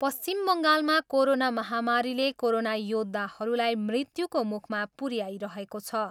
पश्चिम बङ्गालमा कोरोना महामारीले कोरोना योद्धाहरूलाई मृत्युको मुखमा पुऱ्याइरहेको छ।